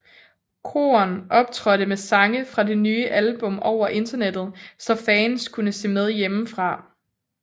Korn optrådte med sange fra det nye album over internettet så fans kunne se med hjemmefra